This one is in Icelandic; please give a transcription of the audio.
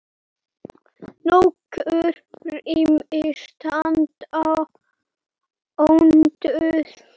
Nokkur rými standa ónotuð.